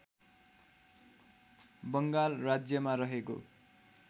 बङ्गाल राज्यमा रहेको